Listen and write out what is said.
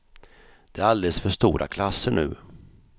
Det är alldeles för stora klasser nu.